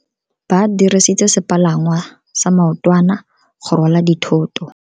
Ba dirisitse sepalangwasa maotwana go rwala dithoto.